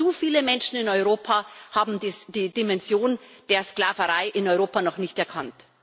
Denn zu viele Menschen in Europa haben die Dimension der Sklaverei in Europa noch nicht erkannt.